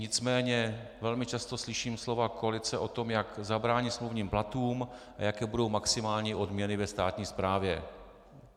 Nicméně velmi často slyším slova koalice o tom, jak zabránit smluvním platům a jaké budou maximální odměny ve státní správě.